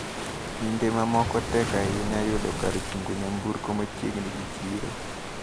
Kinde mamoko tek ahinya yudo kar chungo nyamburko machiegni gi chiro.